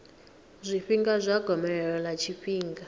zwifhinga zwa gomelelo ḽa tshifhinga